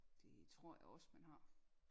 Det tror jeg også man har